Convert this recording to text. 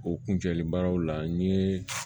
O kuncɛlen baaraw la n ye